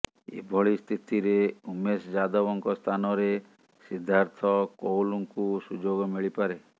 ଏଭଳି ସ୍ଥିତିରେ ଉମେଶ ଯାଦବଙ୍କ ସ୍ଥାନରେ ସିଦ୍ଧାର୍ଥ କୌଲଙ୍କୁ ସୁଯୋଗ ମିଳିପାରେ